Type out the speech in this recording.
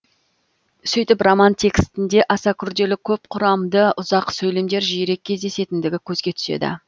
сөйтіп роман текстінде аса күрделі көп құрамды ұзақ сөйлемдер жиірек кездесетіндігі көзге түседі